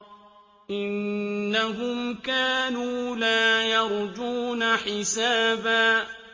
إِنَّهُمْ كَانُوا لَا يَرْجُونَ حِسَابًا